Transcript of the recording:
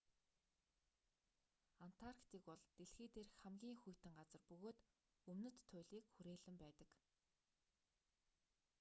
антарктик бол дэлхий дээрх хамгийн хүйтэн газар бөгөөд өмнөд туйлыг хүрээлэн байдаг